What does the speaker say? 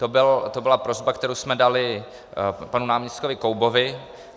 To byla prosba, kterou jsme dali panu náměstkovi Koubovi.